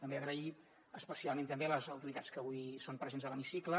també agrair especialment a les autoritats que avui són presents a l’hemicicle